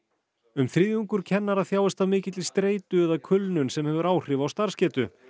um þriðjungur kennara þjáist af mikilli streitu og eða kulnun sem hefur áhrif á starfsgetu